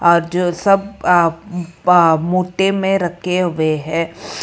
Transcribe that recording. आज सब अ अ मोटे में रखे हुए है।